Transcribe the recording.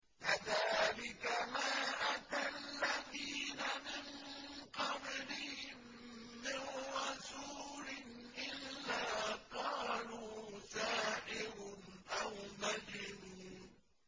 كَذَٰلِكَ مَا أَتَى الَّذِينَ مِن قَبْلِهِم مِّن رَّسُولٍ إِلَّا قَالُوا سَاحِرٌ أَوْ مَجْنُونٌ